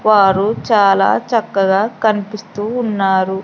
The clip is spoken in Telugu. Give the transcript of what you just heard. వారు చాలా చక్కగా కనిపిస్తూ ఉన్నారు.